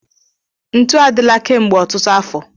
Ntu adịla kemgbe ọtụtụ afọ.